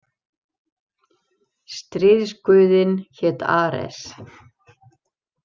Stríðsguðinn hét Ares.